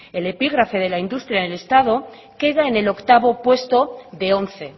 el epígrafe de la industria en el estado queda en el octavo puesto de once